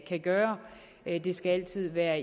kan gøre det skal altid være